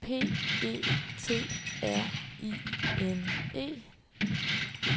P E T R I N E